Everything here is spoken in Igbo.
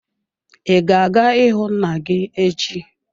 I ga-aga ịhụ nna gị echi.